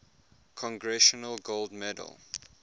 congressional gold medal